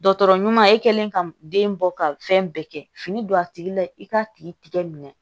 Dɔgɔtɔrɔ ɲuman e kɛlen ka den bɔ ka fɛn bɛɛ kɛ fini don a tigi la i k'a tigi tigɛ minɛ